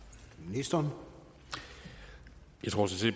jeg tror